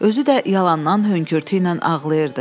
Özü də yalandan hönkürtü ilə ağlayırdı.